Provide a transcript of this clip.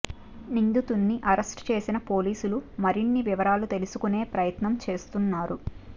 నిందితుల్ని arrest చేసిన పోలీసులు మరిన్ని వివరాలు తెలుసుకునే ప్రయత్నం చేస్తున్నారు